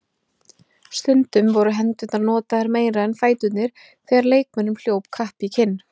Stundum voru hendurnar notaðar meira en fæturnir þegar leikmönnum hljóp kapp í kinn.